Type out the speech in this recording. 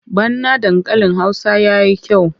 Bana dankalin Hausa ya yi kyau.